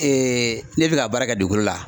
ne bɛ ka baara kɛ dugukolo la